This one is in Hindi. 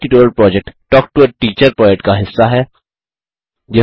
spoken tutorial project talk to a teacher project का हिस्सा है